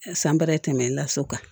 San bara in tɛ tɛmɛ laso kan